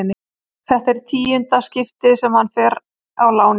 Þetta er í tíunda skipti sem hann fer á láni.